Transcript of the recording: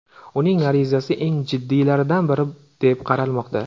Uning arizasi eng jiddiylaridan biri deb qaralmoqda.